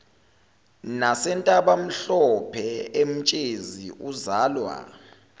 nasentabamhlophe emtshezi uzalwa